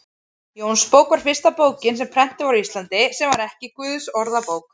Jónsbók var fyrsta bókin sem prentuð var á Íslandi, sem ekki var Guðsorðabók.